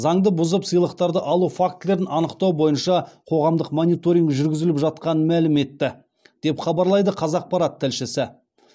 заңды бұзып сыйлықтарды алу фактілерін анықтау бойынша қоғамдық мониторинг жүргізіліп жатқанын мәлім етті деп хабарлайды қазақпарат тілшісі